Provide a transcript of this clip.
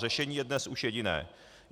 Řešení je dnes už jediné.